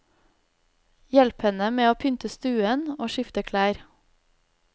Hjelp henne med å pynte stuen og skifte klær.